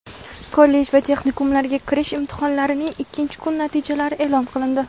Kollej va texnikumlarga kirish imtihonlarining ikkinchi kun natijalari e’lon qilindi.